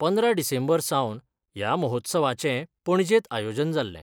पंदरा डिसेंबर सावन या महोत्सवाचे पणजेत आयोजन जाल्ले.